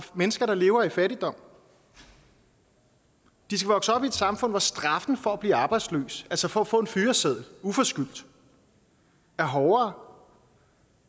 mennesker der lever i fattigdom de skal vokse op i et samfund hvor straffen for at blive arbejdsløs altså for at få en fyreseddel uforskyldt er hårdere